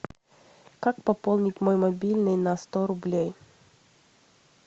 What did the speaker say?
как пополнить мой мобильный на сто рублей